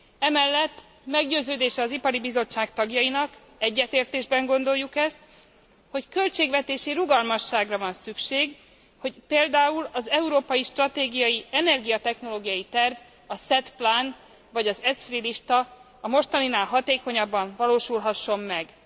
Emellett meggyőződése az Ipari Bizottság tagjainak, egyetértésben gondoljuk ezt, hogy költségvetési rugalmasságra van szükség, hogy például az európai stratégiai energiatechnológiai terv, a SET Plan a mostaninál hatékonyabban valósulhasson meg.